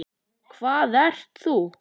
Hver ert þú?